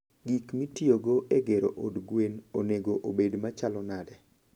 Gik mitiyogo e gero od gwen onego obed machalo nade?